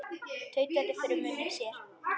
Tautaði fyrir munni sér.